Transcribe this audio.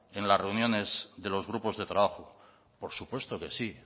en las reuniones de los grupos de trabajo por supuesto que sí